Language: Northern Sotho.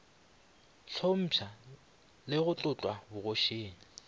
hlompša le go tlotlwa bogošing